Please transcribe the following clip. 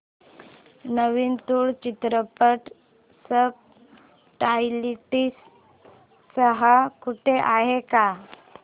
नवीन तुळू चित्रपट subtitles सह कुठे आहे का